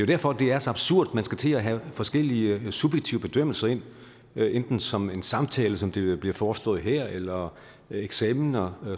derfor det er så absurd at man skal til at have forskellige subjektive bedømmelser ind enten som en samtale som det bliver foreslået her eller eksamener